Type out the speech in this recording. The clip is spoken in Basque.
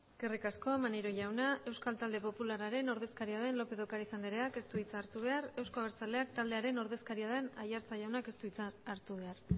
eskerrik asko maneiro jauna euskal talde popularraren ordezkaria lópez de ocariz andreak ez du hitza hartu behar euzko abertzalek taldearen ordezkaria den aiartza jaunak ez du hitza hartu behar